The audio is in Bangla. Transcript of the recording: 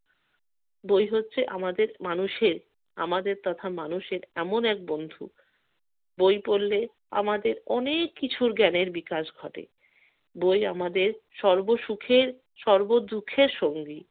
বই হচ্ছে আমাদের মানুষের~ আমাদের তথা মানুষের এমন এক বন্ধু বই পড়লে আমাদের অনেক কিছুর জ্ঞানের বিকাশ ঘটে। বই আমাদের সর্ব সুখের, সর্ব দুঃখের সঙ্গী।